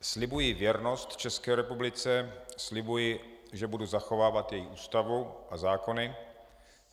"Slibuji věrnost České republice, slibuji, že budu zachovávat její Ústavu a zákony.